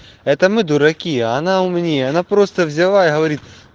это мы дураки она умнее она просто взяла и говорит